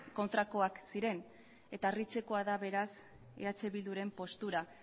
kontrakoak ziren eta harritzekoa da beraz eh bilduren postura